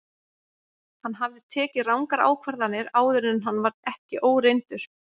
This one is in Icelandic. Hann hafði tekið rangar ákvarðanir áður en hann var ekki óreyndur.